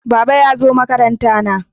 Baba ya zo makaranta na